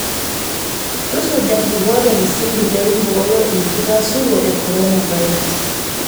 Tusuja nkikoot e msingi pee iboyoo enkatasuro e korona virus